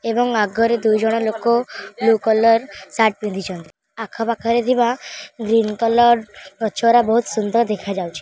ଏବଂ ଆଗରେ ଦୁଇ ଜଣ ଲୋକ ବ୍ଲୁ କଲର୍ ସାର୍ଟ ପିନ୍ଧିଛନ୍ତି। ଆଖ ପାଖରେ ଥିବା ଗ୍ରୀନ କଲର ଗଛ ରା ବହୁତ ସୁନ୍ଦର ଦେଖାଯାଉଛି।